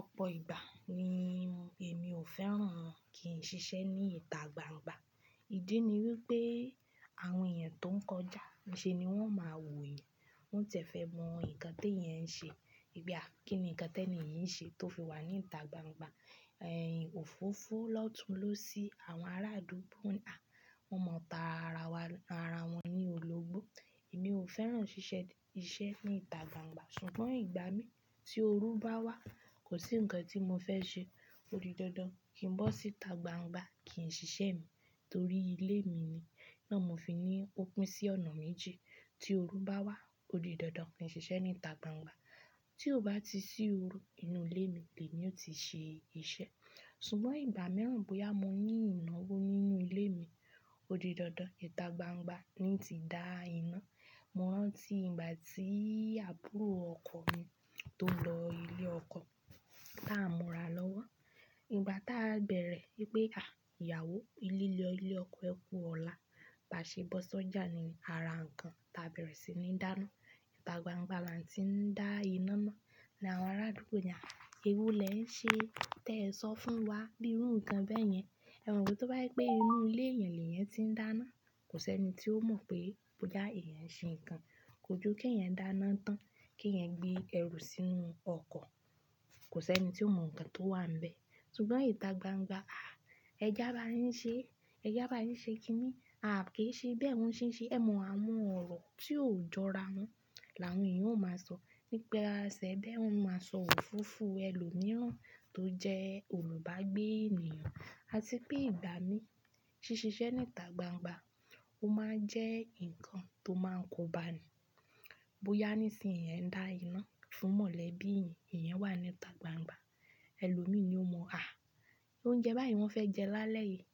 Ọ̀pọ̀ ìgbà ni èmi ò fẹ́ràn kí n ṣiṣẹ́ ní ìta gbangba. Ìdí ni wípé àwọn èèyàn tó ń kọjá iṣe ni wón máa wò yan. Wọ́n tiẹ́ fe mọ nǹkan tí èèyàn ń ṣe. Gbà kí ni nǹkan tí èni yì nṣe tó fi wà ní ìta gbangba. Ẹ̀yin òfófó lọ́tun lósì àwọn ará adúgbò náà. Wọn mọ̀ tá ara won ní òlógbo. Èmi ò fẹ́ràn ṣíṣe ní ìta gbangba. Ṣùgbọ́n ìgbà mí tí oòru bá wá kò sí nǹkan tí mo fẹ́ ṣe. Ódi dandan kín bọ́ sí ìta gbangba kín ṣiṣẹ́ mi torí ilé mi ni iná mo fi ní opín sí ọ̀nà méjì. Tí òoru bá wá ódi dandan kín ṣiṣẹ́ ní ìta gbangba. Tío bá ti sí òoru inú ilé mi ni èmi ó ti ṣe iṣẹ́. Ṣùgbọ́n ìgbà mìíràn bóyá mo ní ìnáwó nínú ilé mi, ódi dandan ìta gbangba ni ti dá iná. Mọ̀ rán tí ìgbà tí àbúrò ọkọ mi tón lọ ilé ọkọ, táà n mura lọ́wọ́. Ìgbà táa bẹ̀rẹ̀ wípé à ìyàwó, lílọ ilé ọkọ ẹ kú ọ̀la. Báṣe bọ́ sọ́jà ni ara nǹkan táa bẹ̀rẹ̀ sí ní dáná. Ìta gbangba là tí ń dá iná náà. Làwọn arádúgbò ni a, ewo lè ń ṣe tẹ ẹ sọ fún wa bí irú nǹkan bẹ́ẹ̀ yẹn. Ẹ̀mo pe tóbá jẹ pé inú ilé èèyàn lèyan ti ń dáná. Kò sí ẹni tí ó mọ̀ pé bóyá èèyàn n ṣe nǹkan. Kòju ke èèyàn dáná tán ke èèyàn gbé ẹrù sínú ọkọ̀. Kò sẹni tíó mọ̀ nǹkan tó wà níbẹ̀. Ṣùgbọ́n ìta gbangba, à ẹ je abá yin ṣe, ẹ já bá yin ṣe kíní. À kìi ṣe bẹ́ẹ̀ wóń ṣe nṣe. Ẹ mọ àwon ọ̀rọ̀ tí ò jọra wọ́n. Làwọn èèyàn ó máa sọ nípa ẹ sẹ́ bẹ́ẹ̀ wọ́n máa sọ òfófó ẹ lò mí rán tó jẹ́ olùbágbé ènìyàn. Àti pé ìgbà mí ṣí ṣiṣẹ́ ní ìta gbangba ó máa ń jẹ́ nǹkan tó máa ń kóbani. Bóyá nísìnyí è ń dá iná fún mọ̀lẹ́bí eeyan, èèyàn wà ní ìta gbangba. Ẹ lò mí ni ó mọ̀ à óúnjẹ bá yii wọ́n fẹ́ jẹ lálẹ́ yìí.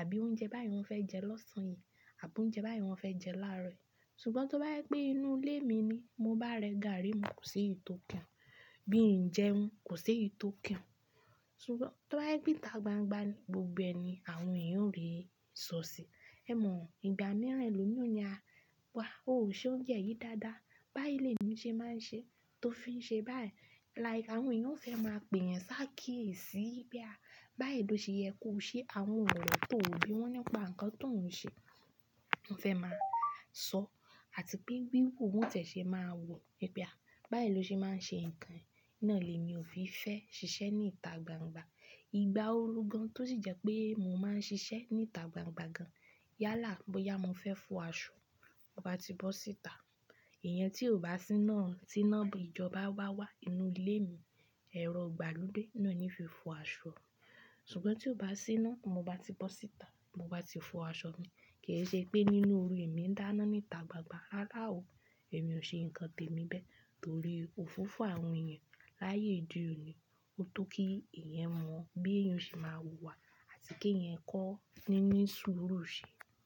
Àbí oúnjẹ báyii wọ́n fẹ́ jẹ lọ́sàn yìí. Àbí oúnjẹ bá yẹn wọ́n fẹ́ jẹ láàárọ̀ yìí. Ṣùgbọ́n tó bá jẹ pé inú ilé mi ni mo bá rẹ gàárì mu kòseyi tò kan e Bí ń jẹun kò seyi tò kàn e. Ṣùgbọ́n tó bá jẹ pé ìta gbangba ni gbogbo ẹni àwọn èèyàn o rí sọ̀sì. Ẹ mọ̀ ìgbà mìíràn ẹ lò mí òni a wá óò ṣe oúnjẹ yìí dáadáa. Báyi lé mi ṣe máa ń ṣe tófi ń ṣe báyi. Like àwọn èèyàn ó fẹ́ máa pè yan sáàkí èsì. Pé à báyi loseye ko see àwọn òrò tó ò bí wọ́n nípa nǹkan tó ń ṣe. Wọ́n fẹ́ máa sọ àti pé wíwù wọ́n tiẹ̀ ṣe máa wò. Pe à báyi loṣe máa ń ṣe nǹkan e. Iná lè mi ò fi fẹ́ ṣiṣẹ́ ní ìta gbangba. Ìgbà oorú gan tó sì jẹ́ pé mo máa ń ṣiṣẹ́ ní ìta gbangba gan. Yálà bóyá mo fẹ́ fo aṣọ, mo bá ti bọ́ sí ìta. Ìyan tí ò bá sí iná tí iná ìjọba bá wá inú ilé mi. Ẹ̀rọ igbalode náà ní fi fo aṣọ. Ṣùngbọ́n tí ó bá sí iná, mo bá ti bọ́ sí ìta, mo bá ti fo aṣọ mi. Ke sepe ninun nínú oru èmi ń dáná ní ìta gbangba. Rárá o, èmi ò ṣe nǹkan tèmi bẹ́ẹ̀ torí òfófó àwọn èèyàn láyé òde òní. Ó tó kí èèyàn o mọ̀ bí èèyàn o ṣe máa ùwà àti kí èèyàn kọ́ níní sùúrù ṣi.